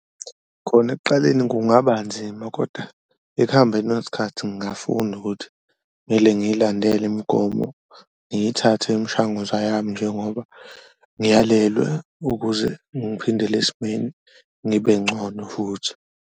Khona ekuqaleni kungaba nzima koda ekuhambeni kwesikhathi ngafunda ukuthi kumele ngiyilandele imigomo, ngiyithathe imshanguzwa yami njengoba ngiyalelwe ukuze ngiphindele esimeni, ngibe ncono futhi.